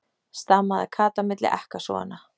stamaði Kata milli ekkasoganna.